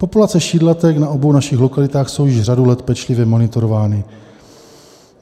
Populace šídlatek na obou našich lokalitách jsou již řadu let pečlivě monitorovány.